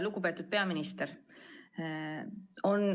Lugupeetud peaminister!